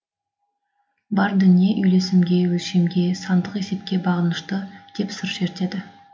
бар дүние үйлесімге өлшемге сандық есепке бағынышты деп сыр шертеді